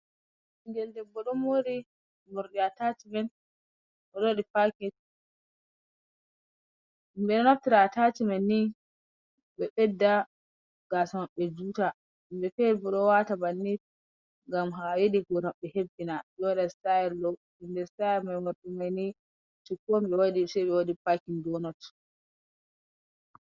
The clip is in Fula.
Ɓingel debbo ɗon mori morɗi atachimen oɗo waɗi pakin. Himɓe ɗo naftira atacimen ni ɓe ɓedda gasa maɓɓe juta himɓe fere bo ɗo wata bannin ngam ɓe yiɗi hore maɓɓe ɓe waɗi sitayel ɗo inde sitayel mordo mai shuku ɓe waɗi pakin donot.